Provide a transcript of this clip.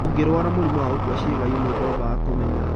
Ũngĩrwara mũrimũ wa gũkua ciĩga imwe ndwambaga kũmenya